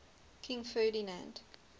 king ferdinand